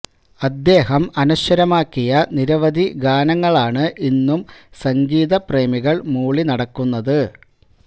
അദ്ദേഹം അനശ്വരമാക്കിയ നിരവധി ഗാനങ്ങളാണ് ഇന്നും സംഗീത പ്രേമികള് മൂളി നടക്കുന്നത്